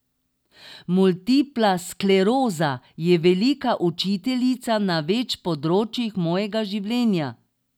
Multipla skleroza je velika učiteljica na več področjih mojega življenja.